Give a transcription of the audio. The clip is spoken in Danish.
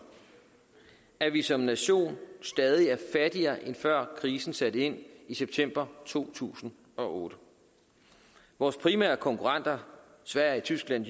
at vi som nation stadig er fattigere end før krisen satte ind i september to tusind og otte vores primære konkurrenter sverige tyskland